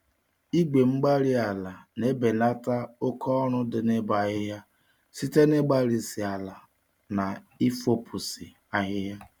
Igwe-mgbárí-ala na-ebelata oke-ọrụ dị n'ịbọ ahịhịa site n'ịgbarisi ala na ifopụsị ahịhịa.